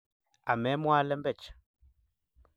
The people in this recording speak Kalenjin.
Amemwaa lembech